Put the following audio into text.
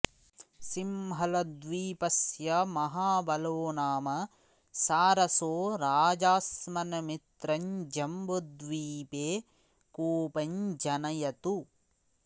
सिंहलद्वीपस्य महाबलो नाम सारसो राजास्मन्मित्रं जम्बुद्वीपे कोपं जनयतु